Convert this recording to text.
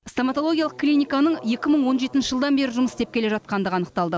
стоматологиялық клиниканың екі мың он жетінші жылдан бері жұмыс істеп келе жатқандығы анықталды